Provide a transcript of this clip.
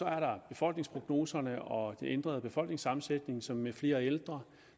er der befolkningsprognoserne og den ændrede befolkningssammensætning som med flere ældre